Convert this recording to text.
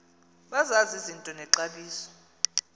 bazazi izinto nexabiso